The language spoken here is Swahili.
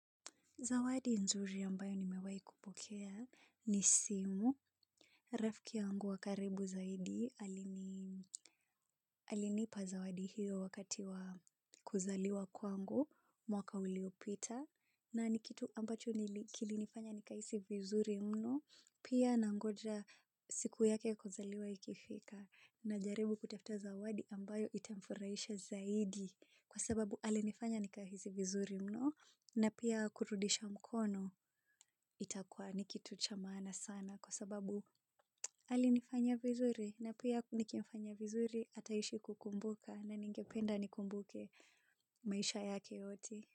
Zawadi nzuri ambayo nimewahi kupokea ni simu. Rafiki yangu wa karibu zaidi alinipa zawadi hiyo wakati wa kuzaliwa kwangu, mwaka uliopita. Na ni kitu ambacho kilinifanya nikahisi vizuri mno. Pia nangoja siku yake kuzaliwa ikifika. Najaribu kutafuta zawadi ambayo itamfurahisha zaidi. Kwa sababu alinifanya nikahisi vizuri mno. Na pia kurudisha mkono. Itakuwa ni kitu cha maana sana kwa sababu, alinifanya vizuri na pia nikimfanyia vizuri ataishi kukumbuka na ningependa anikumbuke maisha yake yote.